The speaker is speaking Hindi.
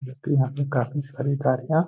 जब कि यहाँ पे काफी सारी गाड़ियां --